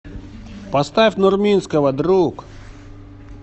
поставь нурминского друг